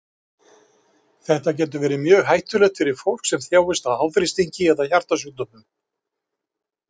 Þetta getur verið mjög hættulegt fyrir fólk sem þjáist af háþrýstingi eða hjartasjúkdómum.